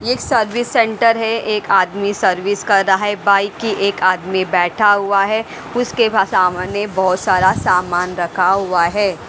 एक service centre है एक आदमी सर्विस कर रहा है बाइक की एक आदमी बैठा हुआ है उसके सामने बहुत सारा सामान रखा हुआ है।